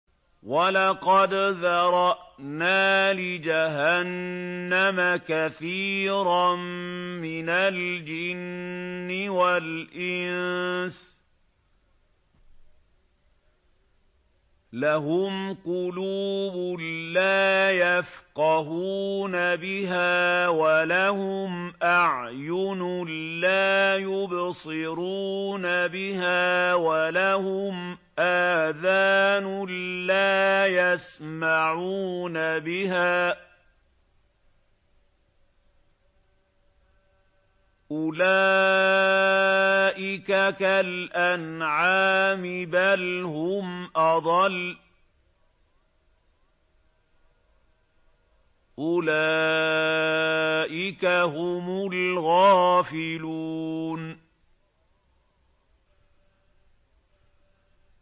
وَلَقَدْ ذَرَأْنَا لِجَهَنَّمَ كَثِيرًا مِّنَ الْجِنِّ وَالْإِنسِ ۖ لَهُمْ قُلُوبٌ لَّا يَفْقَهُونَ بِهَا وَلَهُمْ أَعْيُنٌ لَّا يُبْصِرُونَ بِهَا وَلَهُمْ آذَانٌ لَّا يَسْمَعُونَ بِهَا ۚ أُولَٰئِكَ كَالْأَنْعَامِ بَلْ هُمْ أَضَلُّ ۚ أُولَٰئِكَ هُمُ الْغَافِلُونَ